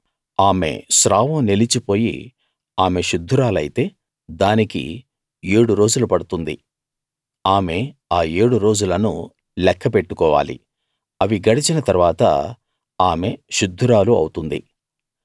ఆమె స్రావం నిలిచిపోయి ఆమె శుద్ధురాలైతే దానికి ఏడు రోజులు పడుతుంది ఆమె ఆ ఏడు రోజులను లెక్క పెట్టుకోవాలి అవి గడచిన తరువాత ఆమె శుద్ధురాలు అవుతుంది